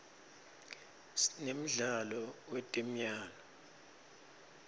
sinemdlalo wetemyalto